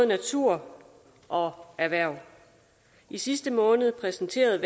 natur og erhverv i sidste måned præsenterede